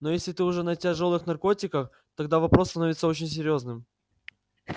но если ты уже на тяжёлых наркотиках тогда вопрос становится очень серьёзным